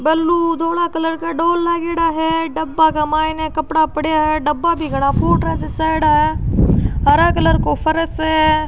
बल्लू धोडा कलर का डोल लागेडा है डब्बा का माइने कपडा पड़ेया है डब्बा भी घाना फ़ूटरा जचाएडा है हरा कलर को फर्श है।